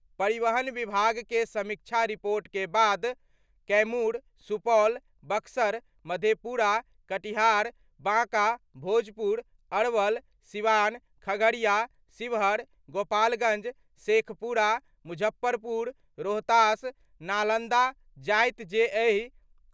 परिवहन विभाग के समीक्षा रिपोर्ट के बाद कैमूर, सुपौल, बक्सर, मधेपुरा, कटिहार, बांका, भोजपुर, अरवल, सीवान, खगड़िया, शिवहर, गोपालगंज, शेखपुरा, मुजफ्फरपुर, रोहतास, नालंदा, जायत जे एहि।